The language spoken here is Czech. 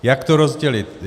Jak to rozdělit.